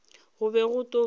go be go tlo ba